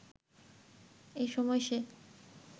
এসময় সে